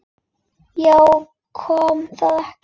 Já, kom það ekki!